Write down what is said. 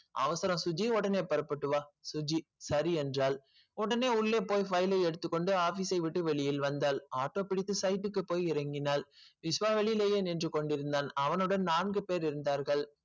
அவசரம் சுஜ்ஜி உடனே புறப்பட்டு வா சுஜ்ஜி சரி என்றால் உடனே உள்ளே பொய் file எடுத்துக்கொண்டு office ஐ விட்டு வெளியில் வந்தால் auto பிடித்து site க்கு பொய் இறங்கினால் விஷ்வா வெளியிலே நின்று கொண்டிருந்தான் அவனோடு நான்கு பேர் இருந்தார்கள்.